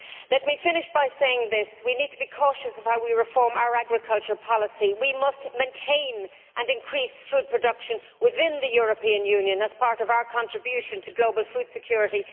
Let me finish by saying this we need to be cautious as to how we reform our agriculture policy. We must maintain and increase food production within the European Union as part of our contribution to global food security.